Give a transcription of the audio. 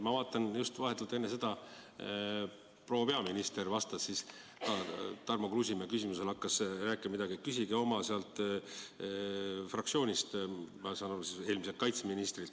Ma vaatasin, et enne hakkas proua peaminister Tarmo Kruusimäe küsimusele vastates rääkima nii, et küsige oma fraktsioonist – ma saan aru, et eelmiselt kaitseministrilt.